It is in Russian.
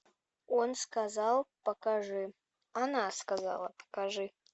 он сказал покажи она сказала покажи